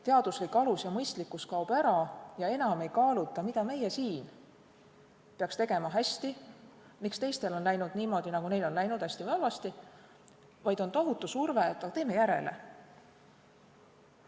Teaduslik alus ja mõistlikkus kaovad ära ja enam ei kaaluta, mida meie siin peaksime tegema hästi, miks teistel on läinud niimoodi, nagu neil on läinud, hästi või halvasti, vaid on tohutu surve, et teeme järele.